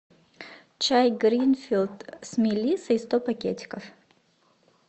чай гринфилд с мелиссой сто пакетиков